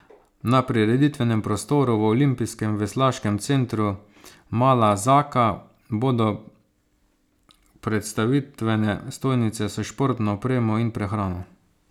Na prireditvenem prostoru v olimpijskem veslaškem centru Mala Zaka bodo predstavitvene stojnice s športno opremo in prehrano.